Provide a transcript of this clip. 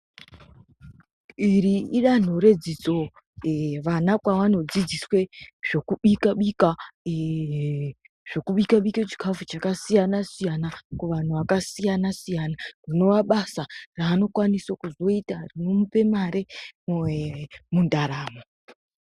Iri idanho redzidzo vana kwavanodzidziswe zvokubika bika, zvokubika zvokubika bika chikafu chakasiyana siyana kuvanhu vakasiyana siyana rinova basa raanokwanisa kuzoita rinomupa mare mundaramo.